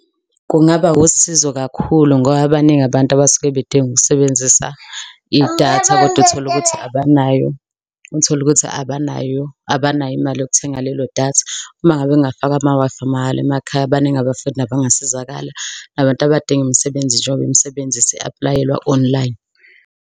Kungaba usizo kakhulu ngoba baningi abantu abasuke bedinga ukusebenzisa idatha koda utholukuthi abanayo, utholukuthi abanayo abanayo imali yokuthenga lelo datha. Uma ngabe bengafaka ama-Wi-Fi mahhala emakhaya, baningi abafundi abangasizakala nabantu abadinga imisebenzi njengoba imisebenzi isi-apply-elwa online.